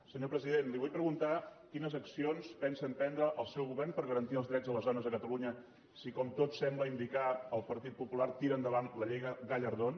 senyor president li vull preguntar quines accions pensa emprendre el seu govern per garantir els drets de les dones a catalunya si com tot sembla indicar el partit popular tira endavant la llei gallardón